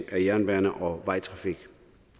af jernbane og vejtrafik